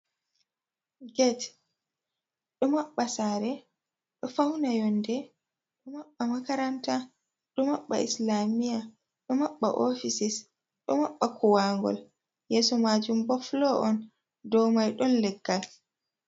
geet do mabba sare do fauna yonde do maɓɓa makaranta do maɓɓa islamiya do maɓɓa ofisis do maɓɓa kuwangol yeso maajum bo folo on dou mai don leggal.